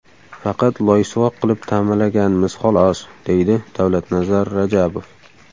Faqat loysuvoq qilib ta’mirlaganmiz, xolos”, deydi Davlatnazar Rajabov.